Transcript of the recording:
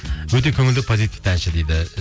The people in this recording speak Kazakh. өте көңілді позитивті әнші дейді